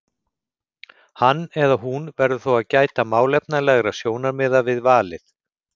Hann eða hún verður þó að gæta málefnalegra sjónarmiða við valið.